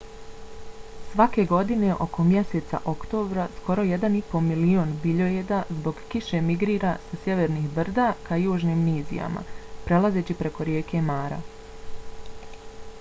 svake godine oko mjeseca oktobra skoro 1,5 milion biljojeda zbog kiše migrira sa sjevernih brda ka južnim nizijama prelazeći preko rijeke mara